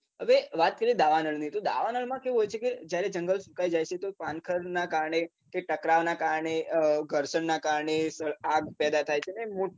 હવે વાત કરીએ દાવાનળની તો દાવાનળ માં કેવું હોય છે કે જયારે જંગલ સુકાય જાય છે તો પાનખરનાં કારણે કે ટકરાવના કારણે ઘર્ષણ ના કારણે આગ પેદા થાય છે અને